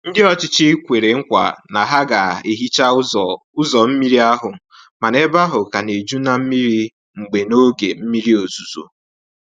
Ndị ọchịchị kwere nkwa na ha ga hicha ụzọ ụzọ mmiri ahụ, mana ebe ahụ ka na-eju na mmiri mgbe n'oge mmiri ozuzo.